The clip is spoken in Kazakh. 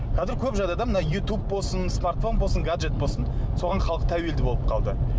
қазір көп жағдайда мына ютуб болсын смартфон болсын гаджет болсын соған халық тәуелді болып қалды